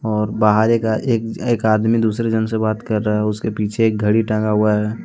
और बाहर एक एक एक आदमी दूसरे जन से बात कर रहा है उसके पीछे एक घड़ी टागा हुआ है।